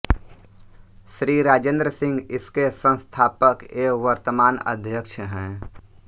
श्री राजेन्द्र सिंह इसके संस्थापक एवं वर्तमान अध्यक्ष हैं